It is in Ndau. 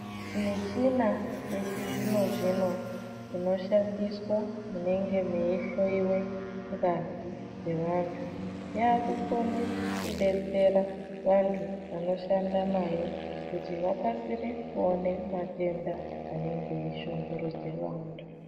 Michina yechizvino-zvino inoshandiswa munonga meihloyiwe ngazi dzevantu. Yaakukone kudetsera vantu vanoshanda nayo kuti vakasire kuone matenda anenge eishungurudze vantu.